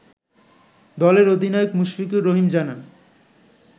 দলের অধিনায়ক মুশফিকুর রহিম জানান